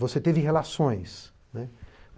Você teve relações, né.